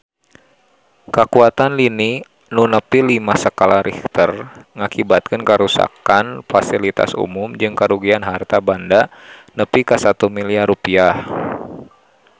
Kakuatan lini nu nepi lima skala Richter ngakibatkeun karuksakan pasilitas umum jeung karugian harta banda nepi ka 1 miliar rupiah